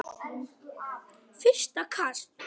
Fyrsta kast